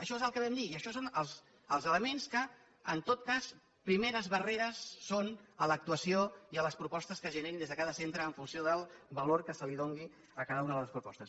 això és el que vam dir i això són els elements que en tot cas primeres barreres són a l’actuació i a les propostes que es generin des de cada centre en funció del valor que es doni a cada una de les propostes